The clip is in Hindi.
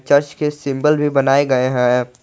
चर्च के सिंबल भी बनाए गए हैं।